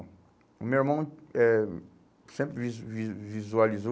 O meu irmão eh sempre visu visu visualizou...